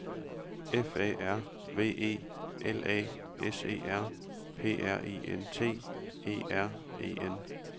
F A R V E L A S E R P R I N T E R E N